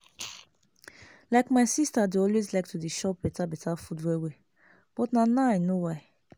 like my sister dey always like to dey chop beta beta food well well but na now i know why